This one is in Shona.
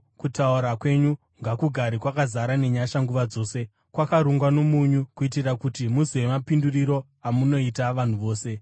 Kutaura kwenyu ngakugare kwakazara nenyasha nguva dzose, kwakarungwa nomunyu, kuitira kuti muzive mapinduriro amunoita vanhu vose.